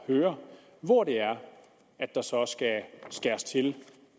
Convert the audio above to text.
høre hvor det er at der så skal skæres til